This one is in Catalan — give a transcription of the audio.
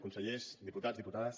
consellers diputats diputades